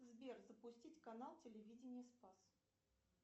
сбер запустить канал телевидения спас